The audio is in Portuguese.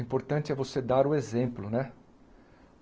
Importante é você dar o exemplo, né?